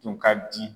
Tun ka di